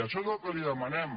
això és el que li demanem